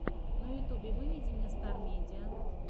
на ютьюбе выведи мне стар медиа